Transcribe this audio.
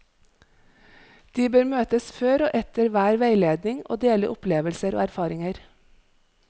De bør møtes før og etter hver veiledning og dele opplevelser og erfaringer.